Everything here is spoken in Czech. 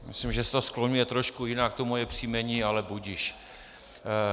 Myslím, že se to skloňuje trošku jinak, to moje příjmení, ale budiž.